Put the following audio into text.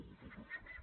moltes gràcies